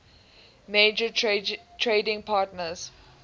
major trading partners